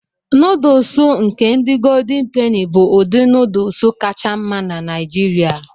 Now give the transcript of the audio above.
Nọdụụsụ nke ndị goldin peni bụ ụdị nọdụụsụ kacha mma na Nigeria.